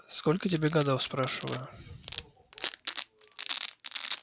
сколько тебе годов спрашиваю